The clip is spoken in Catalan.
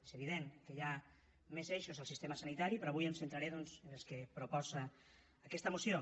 és evident que hi ha més eixos al sistema sanitari però avui em centraré doncs en els que proposa aquesta moció